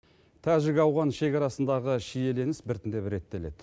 тәжік ауған шекарасындағы шиелініс біртіндеп реттеледі